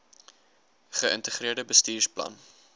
ge integreerde bestuursplan